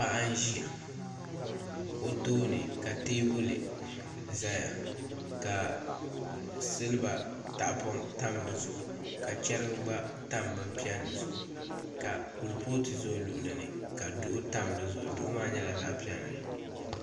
Paɣa n ʒiya o tooni ka teebuli ʒɛya ka silba tahapoŋ tam di zuɣu ka chɛrigi gba tam bin piɛlli zuɣu ka kuripooti ʒɛ o luɣuli ni ka duɣu tam di zuɣu duɣu maa nyɛla zaɣ piɛlli